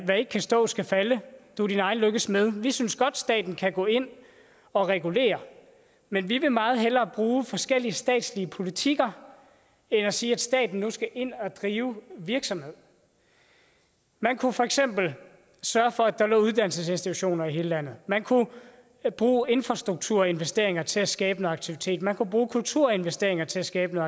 der ikke kan stå skal falde og du er din egen lykkes smed vi synes godt at staten kan gå ind og regulere men vi vil meget hellere bruge forskellige statslige politikker end at sige at staten nu skal ind og drive virksomhed man kunne for eksempel sørge for at der lå uddannelsesinstitutioner i hele landet man kunne bruge infrastrukturinvesteringer til at skabe noget aktivitet man kunne bruge kulturinvesteringer til at skabe